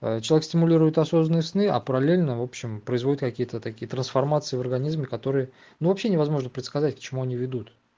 человек стимулирует осознанные сны а параллельно в общем производит какие-то такие трансформации в организме которые ну вообще невозможно предсказать к чему они ведут